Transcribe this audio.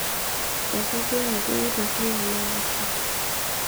etodua ajo eitiirring'e enaiposha